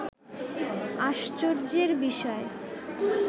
আশ্চর্যের বিষয়